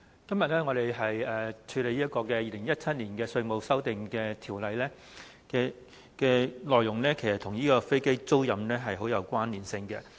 主席，我們今天審議《2017年稅務條例草案》，其實當中的內容與飛機租賃業務甚有關連。